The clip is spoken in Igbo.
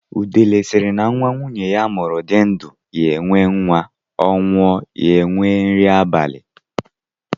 Udele sịrị, na nwa nwunye ya mụrụ di ndụ, ya enwee nwa; Ọ nwụọ, ya enwee nri abali.